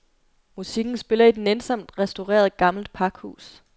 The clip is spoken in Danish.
Musikken spiller i et nænsomt restaureret, gammelt pakhus.